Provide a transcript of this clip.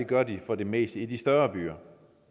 gør de for det meste i de større byer